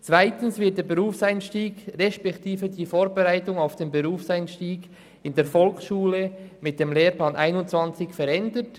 Zweitens werden der Berufseinstieg respektive die Vorbereitung darauf in der Volksschule mit dem Lehrplan 21 verändert.